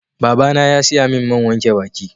Baba na ya siya min man wanke baki